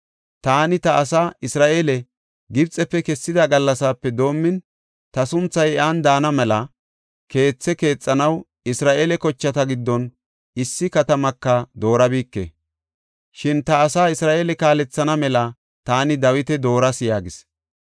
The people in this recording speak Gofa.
‘Taani ta asaa, Isra7eele Gibxefe kessida gallasape doomin, ta sunthay iyan daana mela keethe keexanaw Isra7eele kochata giddon issi katamaka doorabike. Shin ta asaa Isra7eele kaalethana mela taani Dawita dooras’ yaagis.